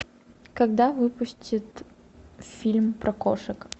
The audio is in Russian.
когда выпустят фильм про кошек